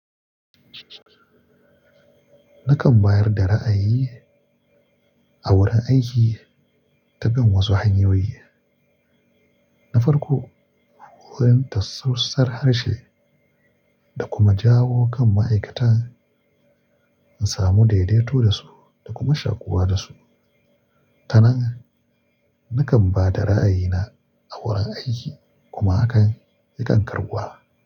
Nakan bayar da ra'ayi a wurin aiki ta kan wasu hanyoyi. Na farko, wurin tattausar harshe da kuma jawo kan ma'aikata in samu daidaito da su da kuma shakuwa da su. Kana nan, nakan ba da ra'ayina a wurin aiki kuma hakan yakan karbuwa.